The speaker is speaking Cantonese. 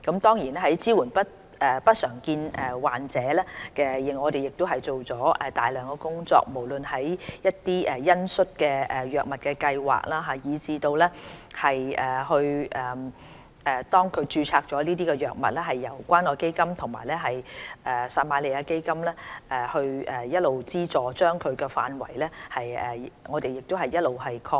在支援不常見病患者方面，我們也做了大量工作，不論是恩恤用藥計劃，以至當局註冊相關藥物後由關愛基金和撒瑪利亞基金資助的範圍亦一直擴闊。